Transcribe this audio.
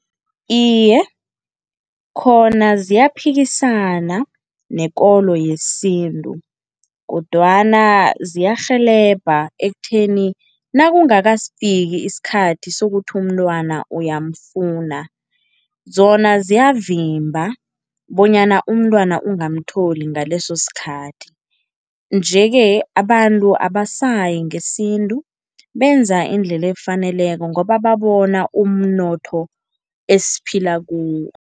Iye, khona ziyaphikisana nekolo yesintu kodwana ziyarhelebha ekutheni nakungakafiki isikhathi sokuthi umntwana uyamfuna, zona ziyavimba bonyana umntwana ungamtholi ngaleso sikhathi nje-ke abantu abasayi ngesintu benza indlela efaneleko ngoba babona umnotho esiphila kuwo.